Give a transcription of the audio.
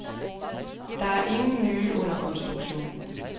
Der er ingen nye under konstruktion.